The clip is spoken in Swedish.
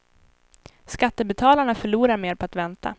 Skattebetalarna förlorar mer på att vänta.